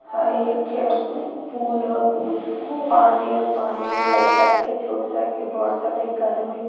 high एक खे पूल ह पूल पानी ह पानी में लइका एक खे छोट सा एक खे बड़ सा लइका आदमी --